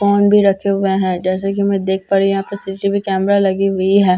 Phone भी रखे हुए हैं जैसे की मैं देख पा रही हूं यहां पे सी_सी_टी_वी कैमरा लगी हुई है।